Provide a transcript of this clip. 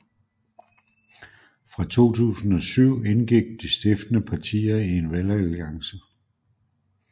Fra 2007 indgik de stiftende partier i en valgalliance